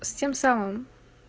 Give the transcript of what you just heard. с тем самым